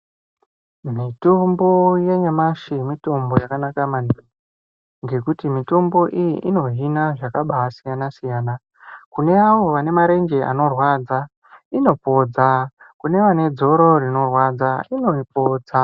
Mitombo yanyashi mitombo yakanaka maningi ngekuti mitombo iyi inohina zvakabaa siyana-siyana kune avo vane marenje anorwadza inopodza kune vane dzoro rinorwadza inoripodza.